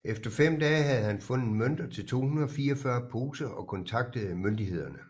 Efter fem dage havde han fundet mønter til 244 poser og kontaktede myndighederne